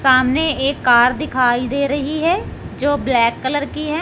सामने एक कार दिखाई दे रही है जो ब्लैक कलर की है।